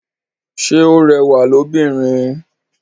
Ṣe o rẹwa lóbìnrin?